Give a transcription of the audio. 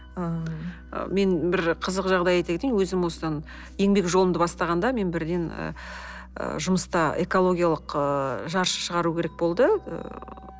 ыыы мен бір қызық жағдай айта кетейін өзім осыдан еңбек жолымды бастағанда мен бірден ы жұмыста экологиялық ы жаршы шығару керек болды